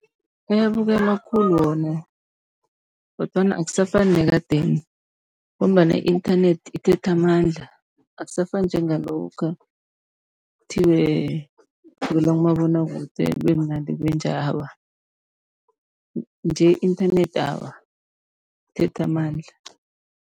Ayabukelwa khulu wona kodwana akusafani nekadeni, ngombana i-inthanethi ithethe amandla. Akusafani njengalokha kuthiwe kubukelwa kumabonwakude kube mnandi kube njaya, awa nje inthanethi awa, ithethe amandla.